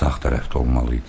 Sağ tərəfdə olmalı idi.